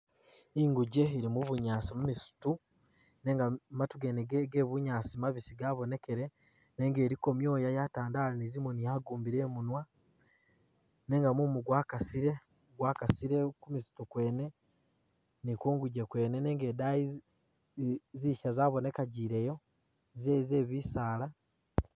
Ingujje ili mu bunyaasi mu misitu nenga matu gene ge ge bunyaasi mabisi gabonekele nenga iliko myoya yatandalire zimoni yagumbile imunwa nenga mumu gwakasile, gwakasile ku misitu gyene ni kungujje kwene nenga idayi zi zisha zabonekajileyo ze ze bisaala